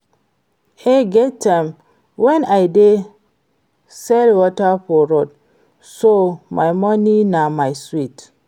E get time wen I dey sell water for road so my money na my sweat